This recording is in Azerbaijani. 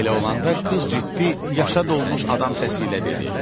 Belə olanda qız ciddi, yaşa dolmuş adam səsi ilə dedi: